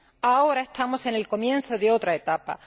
Ahora estamos en el comienzo de otra etapa.